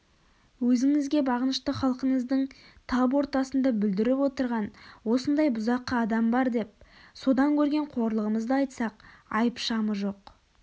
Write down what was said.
өзіңізге бағынышты халқыңыздың тап ортасында бүлдіріп отырған осындай бұзақы адам бар деп содан көрген қорлығымызды айтсақ айып-шамы жоқ